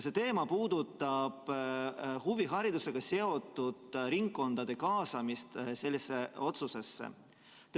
See puudutab huviharidusega seotud ringkondade kaasamist sellesse otsusesse.